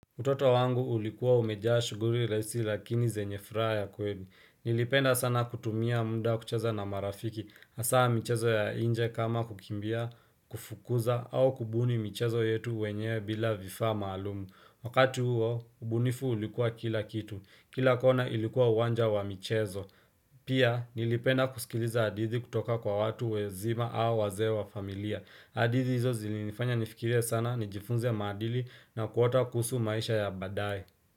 Utoto wangu ulikuwa umejaa shughuli rahisi lakini zenye futaha. Ya kweli. Nilipenda sana kutumia mda kucheza na marafiki. Asaa mchezo ya nje kama kukimbia, kufukuza, au kubuni mchezo yetu wenyewe bila vifa maalumu. Wakati huo, ubunifu ulikuwa kila kitu. Kila kona ilikuwa uwanja wa michezo. Pia, nilipenda kusikiliza hadithi kutoka kwa watu wazima au wazee wa familia. Hadithi hizo zilinifanya nifikirie sana ni jifunze ya maadili na kuota kuhusu maisha ya baadaye.